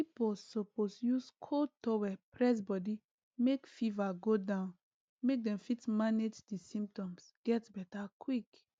pipo suppose use cold towel press body make fever go down make dem fit manage di symptoms get beta quick